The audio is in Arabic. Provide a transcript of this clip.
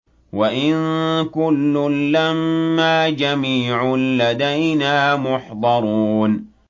وَإِن كُلٌّ لَّمَّا جَمِيعٌ لَّدَيْنَا مُحْضَرُونَ